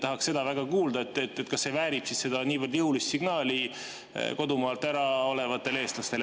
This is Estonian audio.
Tahaks seda väga kuulda, kas see väärib niivõrd jõulist signaali kodumaalt olevatele eestlastele.